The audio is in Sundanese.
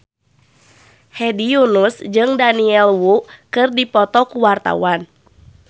Hedi Yunus jeung Daniel Wu keur dipoto ku wartawan